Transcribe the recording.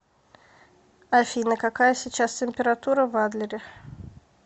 афина какая сейчас температура в адлере